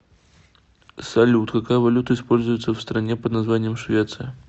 салют какая валюта используется в стране под названием швеция